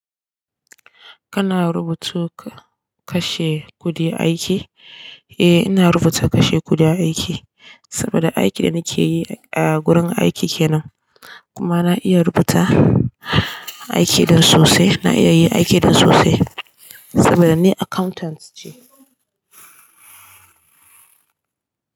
Kana rubutu ka kashe kuɗi aiki? Eh ina rubuta kashe kuɗi aiki saboda aiki da nake yi a gurin aiki kenan kuma na iya rubuta aiki ɗin sosai. Na iya yi aiki ɗin sosai saboda ni accountant ce.